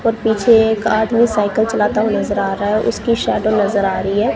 और पीछे एक आदमी साइकिल चलाता हुआ नजर आ रहा है। उसकी शैडो नजर आ रही है।